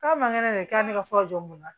K'a man kɛnɛ de k'a bɛ ne ka fura jɔ mun na